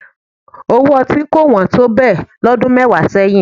Owó ọtí kò wọ́n tó bẹ́ẹ̀ lọ́dún mẹ́wàá sẹ́yìn